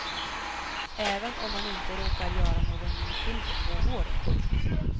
Även om man inte råkar göra någon ny film på två år. punkt